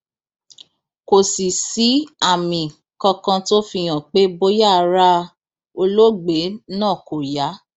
kò sì sí àmì kankan tó fi hàn pé bóyá ara olóògbé náà kò yá